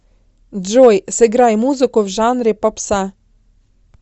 джой сыграй музыку в жанре попса